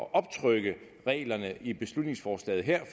at optrykke reglerne i beslutningsforslaget her